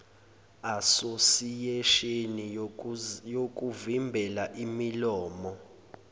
asosiyesheni yokuvimbela imililo